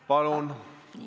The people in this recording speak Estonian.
Palun!